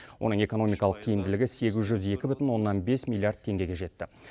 оның экономикалық тиімділігі сегіз жүз екі бүтін оннан бес миллиард теңгеге жетті